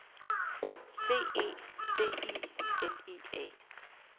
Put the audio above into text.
C E C I L I A